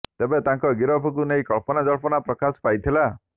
ତେବେ ତାଙ୍କ ଗିରଫକୁ ନେଇ କଳ୍ପନା ଜଳ୍ପନା ପ୍ରକାଶ ପାଇଥିଲା